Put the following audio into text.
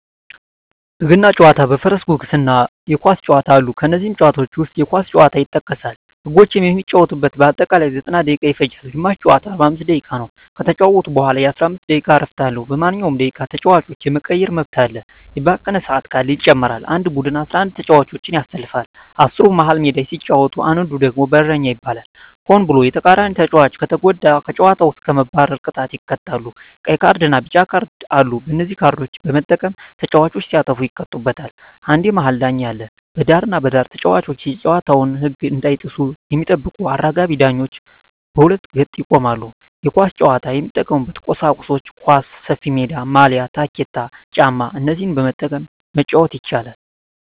በገና ጨዋታ በፈረስ ጉግስ እና የኳስ ጨዋታ አሉ ከነዚህም ጨዋታዎች ዉስጥ የኳስ ጨዋታ ይጠቀሳል ህጎችም የሚጫወቱበት በአጠቃላይ 90ደቂቃ ይፈጃል ግማሽ ጨዋታ 45 ደቂቃ ነዉ ከተጫወቱ በኋላ የ15 ደቂቃ እረፍት አለዉ በማንኛዉም ደቂቃ ተጫዋች የመቀየር መብት አለ የባከነ ሰአት ካለ ይጨመራል አንድ ቡድን 11ተጫዋቾችን ያሰልፋል አስሩ መሀል ሜዳ ሲጫወት አንዱ ደግሞ በረኛ ይባላል ሆን ብሎ የተቃራኒተጫዋቾችን ከተጎዳ ከጨዋታዉ እስከ መባረር ቅጣት ይቀጣሉ ቀይ ካርድና ቢጫ ካርድ አሉ በነዚህ ካርዶች በመጠቀም ተጫዋቾች ሲያጠፉ ይቀጡበታል አንድ የመሀል ዳኛ አለ በዳርና በዳር ተጫዋቾች የጨዋታዉን ህግ እንዳይጥሱ የሚጠብቁ አራጋቢ ዳኞች በሁለት ገጥ ይቆማሉ የኳስ ጫዋች የሚጠቀሙበት ቁሳቁሶች ኳስ፣ ሰፊሜዳ፣ ማልያ፣ ታኬታ ጫማ እነዚህን በመጠቀም መጫወት ይቻላል